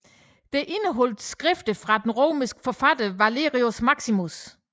Det indeholdt skrifter af den romerske forfatter Valerius Maximus